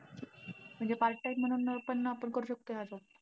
म्हणजे part time म्हणून पण आपण करू शकतोय आता.